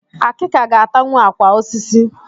Akika ga-atanwu àkwà osisi